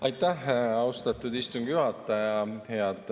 Aitäh, austatud istungi juhataja!